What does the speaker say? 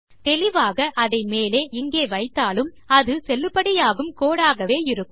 தெளிவாக அதை மேலே இங்கே வைத்தாலும் அது செல்லுபடியாகும் கோடு ஆகவே இருக்கும்